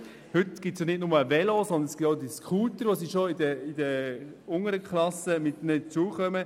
Heute gibt es bekanntlich nicht nur Velos, sondern auch Scooter, mit denen die Schüler bereits in den unteren Klassen zur Schule kommen.